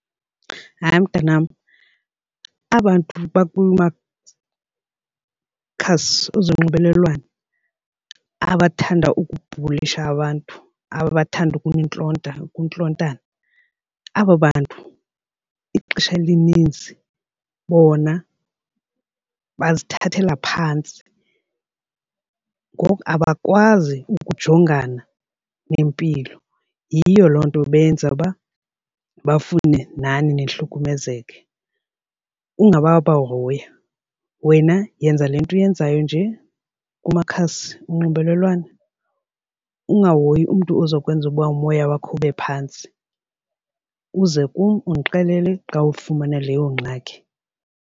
Hayi, mntanam aba bantu khasi ezonxibelelwano abathanda ukubhulisha abantu abathanda ukunintlonta untlontana, aba bantu kwixesha elininzi bona bazithathela phantsi. Ngoku abakwazi ukujongana nempilo, yiyo loo nto benza uba bafune nani nihlukumezeke. Ungabobahoya, wena yenza le nto uyenzayo nje kumakhasi onxibelelwano ungahoyi umntu oza kwenza ukuba umoya wakho ube phantsi uze kum undixelele xa ulifumana leyo ngxaki.